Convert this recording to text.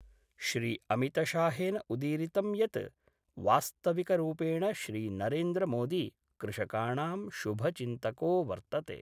श्रीअमितशाहेन उदीरितं यत् वास्तविकरूपेण श्रीनरेन्द्रमोदी कृषकाणां शुभचिन्तको वर्तते।